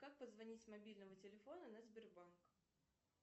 как позвонить с мобильного телефона на сбербанк